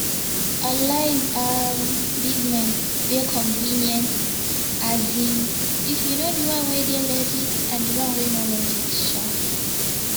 online um business dey convenient um if you know di one wey dey legit and di one wey no legit um